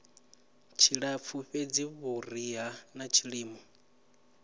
tshilapfu fhedzi vhuriha na tshilimo